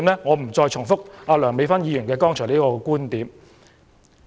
我不再重複梁議員剛才的觀點。